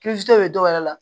bɛ dɔwɛrɛ la